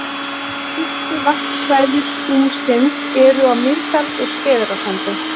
Helstu varpsvæði skúmsins eru á Mýrdals- og Skeiðarársandi.